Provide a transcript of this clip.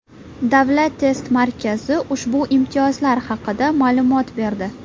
Davlat test markazi ushbu imtiyozlar haqida ma’lumot berdi .